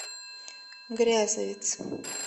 грязовец